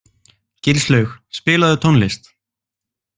Gilslaug, spilaðu tónlist.